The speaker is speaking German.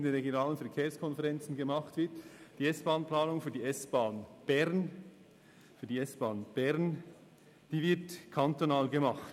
Eine Motion haben wir deshalb eingereicht, weil die S-Bahn-Planung für die SBahn Bern eben nicht direkt in der RVK, sondern kantonal erfolgt.